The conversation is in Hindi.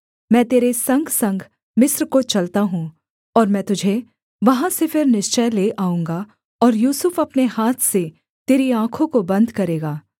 मैं तेरे संगसंग मिस्र को चलता हूँ और मैं तुझे वहाँ से फिर निश्चय ले आऊँगा और यूसुफ अपने हाथ से तेरी आँखों को बन्द करेगा